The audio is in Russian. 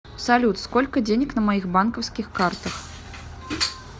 салют сколько денег на моих банковских картах